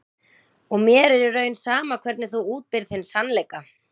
Og mér er í raun sama hvernig þú útbýrð þinn sannleika.